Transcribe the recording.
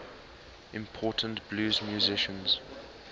important blues musicians